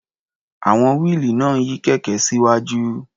À̀wọn wíìlì náà ń yí kẹ̀kẹ́ síwájú.